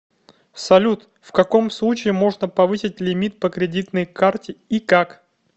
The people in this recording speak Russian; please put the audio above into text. салют в каком случае можно повысить лимит по кредитной карте и как